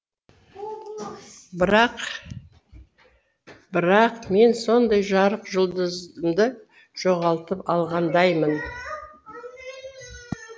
бірақ бірақ мен сондай жарық жұлдызымды жоғалтып алғандаймын